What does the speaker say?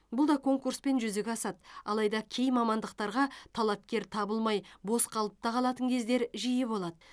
бұл да конкурспен жүзеге асады алайда кей мамандықтарға талапкер табылмай бос қалып та қалатын кездер жиі болады